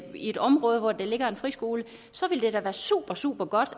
i et område hvor der ligger en friskole så vil det da være super super godt